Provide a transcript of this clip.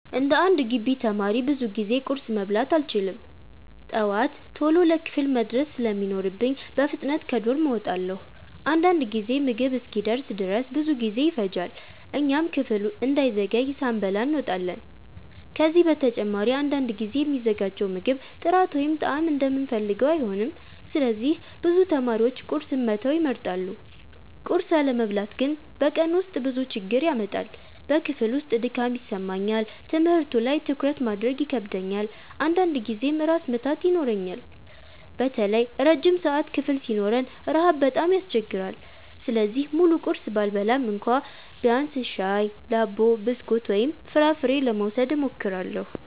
11እንደ ግቢ ተማሪ ብዙ ጊዜ ቁርስ መብላት አልችልም። ጠዋት ቶሎ ለክፍል መድረስ ስለሚኖርብኝ በፍጥነት ከዶርም እወጣለሁ። አንዳንድ ጊዜ ምግብ እስኪደርስ ድረስ ብዙ ጊዜ ይፈጃል፣ እኛም ክፍል እንዳንዘገይ ሳንበላ እንወጣለን። ከዚህ በተጨማሪ አንዳንድ ጊዜ የሚዘጋጀው ምግብ ጥራት ወይም ጣዕም እንደምንፈልገው አይሆንም፣ ስለዚህ ብዙ ተማሪዎች ቁርስን መተው ይመርጣሉ። ቁርስ አለመብላት ግን በቀኑ ውስጥ ብዙ ችግር ያመጣል። በክፍል ውስጥ ድካም ይሰማኛል፣ ትምህርቱ ላይ ትኩረት ማድረግ ይከብደኛል፣ አንዳንድ ጊዜም ራስ ምታት ይኖረኛል። በተለይ ረጅም ሰዓት ክፍል ሲኖረን ረሃብ በጣም ያስቸግራል። ስለዚህ ሙሉ ቁርስ ባልበላም እንኳ ቢያንስ ሻይ፣ ዳቦ፣ ብስኩት ወይም ፍራፍሬ ለመውሰድ እሞክራለሁ።